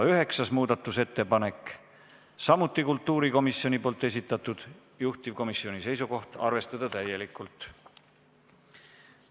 Üheksas muudatusettepanek on samuti kultuurikomisjoni esitatud, juhtivkomisjoni seisukoht on arvestada täielikult.